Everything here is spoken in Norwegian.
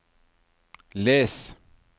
les